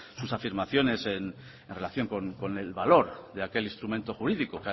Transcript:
sus afirmaciones en relación con el valor de aquel instrumento jurídico